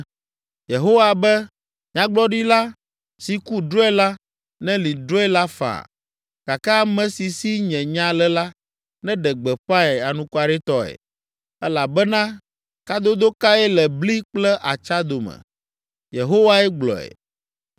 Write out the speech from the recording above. Yehowa be, “Nyagblɔɖila si ku drɔ̃e la, nelĩ drɔ̃e la faa, gake ame si si nye nya le la, neɖe gbeƒãe anukwaretɔe. Elabena kadodo kae le bli kple atsa dome?” Yehowae gblɔe.